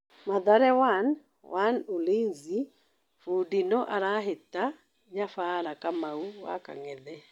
Mathare 1-1 Ulinzi: Bũndi no arahĩta nyabara Kamau wa Kang'ethe.